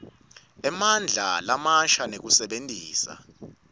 emandla lamasha nekusebentisa